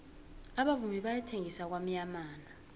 abavumi bayathengisa kwamyamana